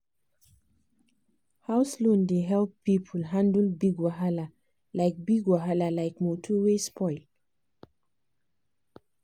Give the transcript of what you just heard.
house loan dey help people handle big wahala like big wahala like motor wey spoil.